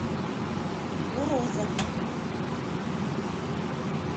урозов